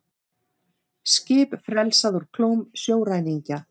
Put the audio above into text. Skip frelsað úr klóm sjóræningja